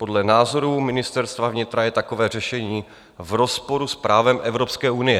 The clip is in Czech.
Podle názorů Ministerstva vnitra je takové řešení v rozporu s právem Evropské unie.